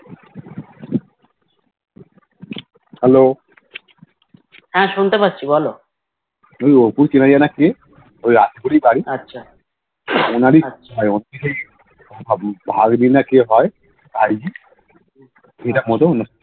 Hello তুই অপুর কিনা জানা কে ওই রাজপুরিবারি ওনারই ভাবী না কি হয় ভাই